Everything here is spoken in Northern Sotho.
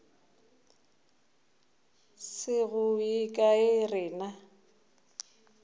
se go ye kae rena